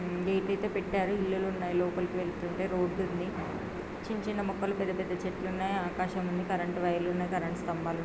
Get అయితే పెట్టారు ఇల్లులు ఉన్నాయి లోపలికి వెళ్తుంటే రోడ్డు ఉంది. చిన్న చిన్న మొక్కలు పెద్ద పెద్ద చెట్లు ఉన్నాయి ఆకాశం ఉంది కరెంట్ వైర్ లు ఉన్నాయ్ కరెంట్ స్తంబాలు ఉన్నా--